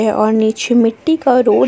और नीचे मिट्टी का रोड है।